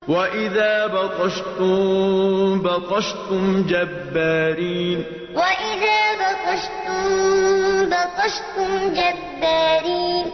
وَإِذَا بَطَشْتُم بَطَشْتُمْ جَبَّارِينَ وَإِذَا بَطَشْتُم بَطَشْتُمْ جَبَّارِينَ